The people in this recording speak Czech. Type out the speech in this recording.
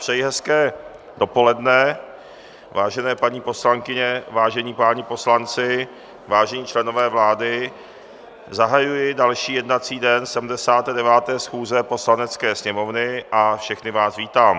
Přeji hezké dopoledne, vážené paní poslankyně, vážení páni poslanci, vážení členové vlády, zahajuji další jednací den 79. schůze Poslanecké sněmovny a všechny vás vítám.